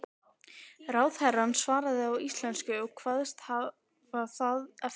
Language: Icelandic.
Ráðherrann svaraði á íslensku og kvaðst hafa það eftir